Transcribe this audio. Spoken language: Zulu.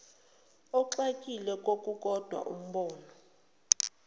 ogxile kokukodwa umbono